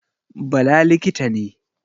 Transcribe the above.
Bala likita ne